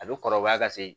A bɛ kɔrɔbaya ka se